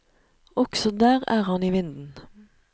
Også der er han i vinden.